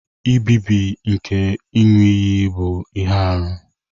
Nbibi nke iṅu-iyi bu ihe-árú.